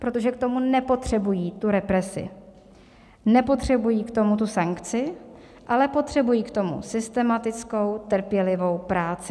Protože k tomu nepotřebují tu represi, nepotřebují k tomu tu sankci, ale potřebují k tomu systematickou trpělivou práci.